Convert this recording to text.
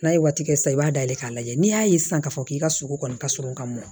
N'a ye waati kɛ sisan i b'a dayɛlɛn k'a lajɛ n'i y'a ye sisan k'a fɔ k'i ka sogo kɔni ka surun ka mɔn